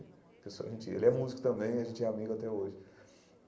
Que eu sou a gente ele é músico também, a gente é amigo até hoje.